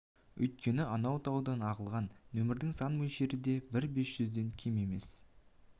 үйткені анау таудан ағылған нөмірдің сан мөлшері де бір бес жүзден кем емес